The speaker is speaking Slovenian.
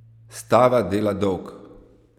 Stava dela dolg!